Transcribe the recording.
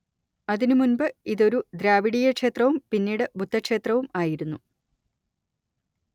അതിനുമുൻപ് ഇതൊരു ദ്രാവിഡീയക്ഷേത്രവും പിന്നീട് ബുദ്ധക്ഷേത്രവും ആയിരുന്നു